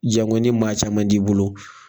Jango ni maa caman t'i bolo